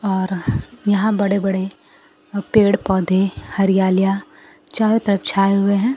और यहां बड़े बड़े पेड़ पौधे हरियालियां चारों तरफ छाए हुए हैं।